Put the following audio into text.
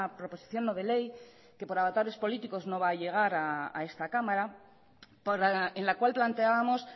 proposición no de ley que por avatares políticos no va a llegar a esta cámara en la cual planteábamos